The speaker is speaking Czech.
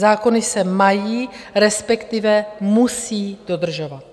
Zákony se mají, respektive musí, dodržovat.